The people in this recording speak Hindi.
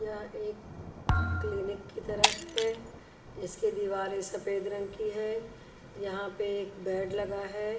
यह एक क्लिनिक की तरह है इसकी दीवारें सफेद रंग की है यहाँ पे एक बेड लगा है।